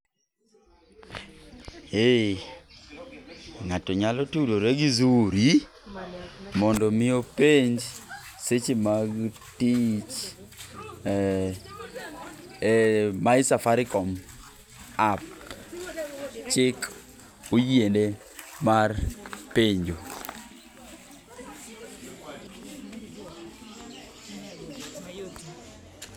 Eee ng'ato nyalo tudore gi Zuri mondo mi openj seche mag tich ee ee my safaricom app. Chik oyiene mar penjo.